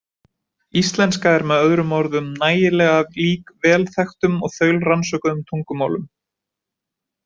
Íslenska er með öðrum orðum nægilega lík vel þekktum og þaulrannsökuðum tungumálum.